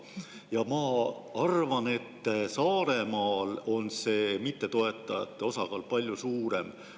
Ja ma arvan, et Saaremaal on see mittetoetajate osakaal palju suurem.